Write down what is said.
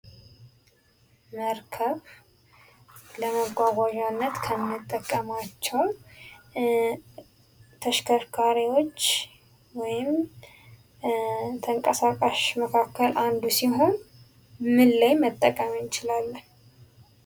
መርከብ ለመጓጓዣነት ከምንጠቀማቸው ተሽከርካሪዎች ወይም ተንቀሳቃሽ መካከል አንዱ ሲሆን ምን ላይ መጠቀም እንችላለን?